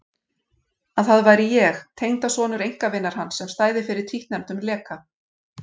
Að það væri ég, tengdasonur einkavinar hans, sem stæði fyrir títtnefndum leka.